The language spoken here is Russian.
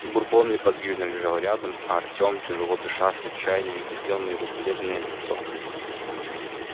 бурбон неподвижно лежал рядом а артём тяжело дыша с отчаянием глядел на его бледное лицо